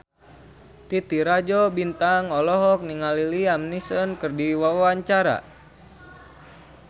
Titi Rajo Bintang olohok ningali Liam Neeson keur diwawancara